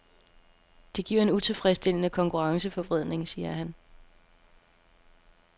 Det giver en utilfredsstillende konkurrenceforvridning, siger han.